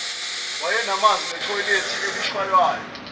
wayenamanzi enethoyilethe elishaywayo